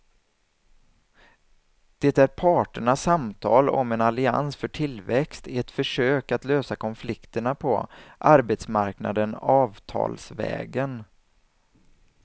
Det är parternas samtal om en allians för tillväxt, ett försök att lösa konflikterna på arbetsmarknaden avtalsvägen.